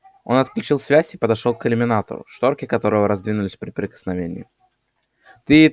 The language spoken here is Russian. он отключил связь и подошёл к иллюминатору шторки которого раздвинулись при прикосновении